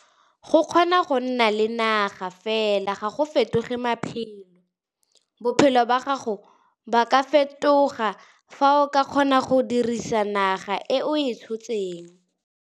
Fa ofisi e laolwa ka tshwanno, e ka nna pelo ya kgwebo ka dintlha tsa togamaano, thulaganyo le tiriso le bolaodi ba kgwebo.